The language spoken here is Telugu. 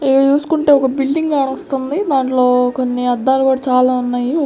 ఇవి చూసుకుంటే ఒక బిల్డింగ్ కనాస్తుంది దాంట్లో కొన్ని అద్దాలు కూడా చాలా ఉన్నాయి.